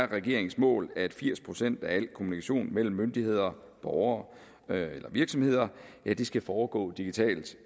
regeringens mål at firs procent af al kommunikation mellem myndigheder borgere eller virksomheder skal foregå digitalt